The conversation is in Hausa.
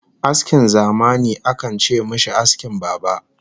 Askin zamani akan ce mishi askin baba